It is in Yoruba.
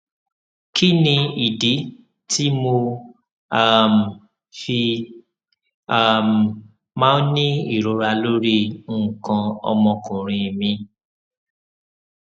kí ni ìdí tí mo um fi um máa ń ní ìrora lórí nǹkan ọmọkùnrin mi